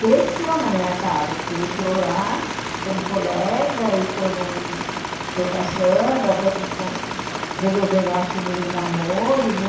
cresceu na minha casa porque ele entrou lá como colega e foram foi passando até que como resolveram assumir o namoro né